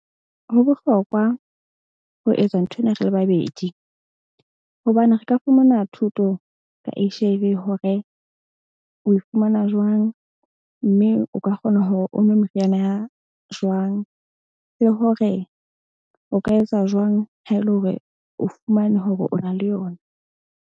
Ho bohlokwa ho etsa nthwena re le babedi hobane re ka fumana thuto ka H_I_V hore o e fumana jwang. Mme o ka kgona hore o nwe meriana ya jwang le hore o ka etsa jwang ha e le hore o fumana hore o na le yona.